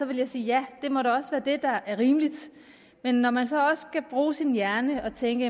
ville jeg sige ja det må da også være det der er rimeligt men når man så også skal bruge sin hjerne og tænke